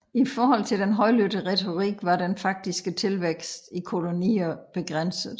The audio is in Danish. I forhold til den højlydte retorik var den faktiske tilvækst i kolonier begrænset